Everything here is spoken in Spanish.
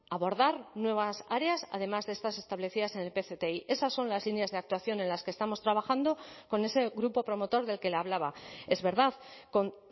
abordar nuevas áreas además de estas establecidas en el pcti esas son las líneas de actuación en las que estamos trabajando con ese grupo promotor del que le hablaba es verdad con